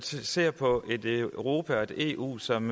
ser på et europa og et eu som